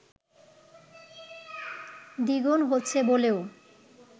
দ্বিগুণ হচ্ছে বলেও